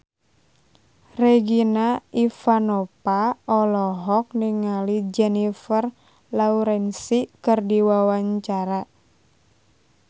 Regina Ivanova olohok ningali Jennifer Lawrence keur diwawancara